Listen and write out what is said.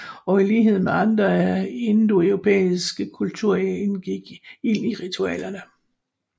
Og i lighed med andre indoeuropæiske kulturer indgik ild i ritualerne